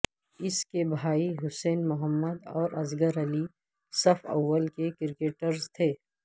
اس کے بھائی حسین محمد اور اصغر علی صف اول کے کرکٹرز تھے